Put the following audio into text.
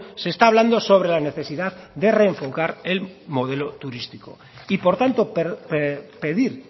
se está hablando sobre la necesidad de reenfocar el modelo turístico y por tanto pedir